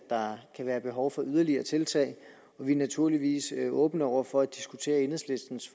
der kan være behov for yderligere tiltag vi er naturligvis åbne over for at diskutere enhedslistens